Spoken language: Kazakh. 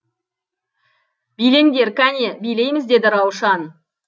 билеңдер кәне билейміз деді раушан